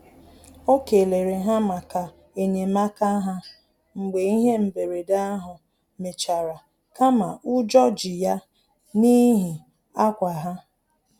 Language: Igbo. O kelere ha maka enyemaka ha mgbe ihe mberede ahụ mechara kama ụjọ ji ya n'ihi akwa ha